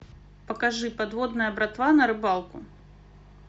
покажи подводная братва на рыбалку